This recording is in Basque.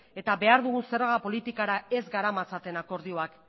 eta behar dugun zerga politikara ez garamatzaten akordioak